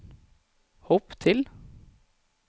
hopp til